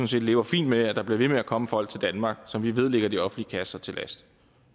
set lever fint med at der bliver ved med at komme folk til danmark som vi ved ligger de offentlige kasser til last